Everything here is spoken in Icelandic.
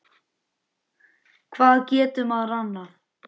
Hvað getur maður annað?